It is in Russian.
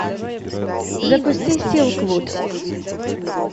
запусти силквуд